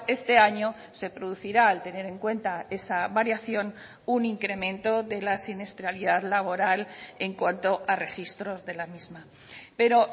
este año se producirá al tener en cuenta esa variación un incremento de la siniestralidad laboral en cuanto a registros de la misma pero